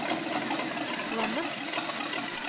Kvammen